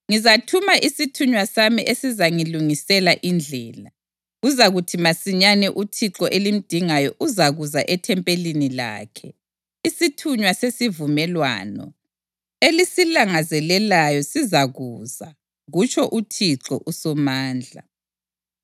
“Ngizathuma isithunywa sami esizangilungisela indlela. Kuzakuthi masinyane uThixo elimdingayo uzakuza ethempelini lakhe; isithunywa sesivumelwano, elisilangazelelayo sizakuza,” kutsho uThixo uSomandla.